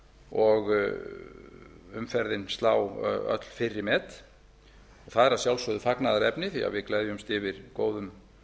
og umferðin slá öll fyrri met það er að sjálfsögðu fagnaðarefni því að við gleðjumst yfir góðum